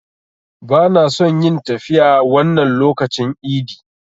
Bana son yin tafiya wannan lokacin idi.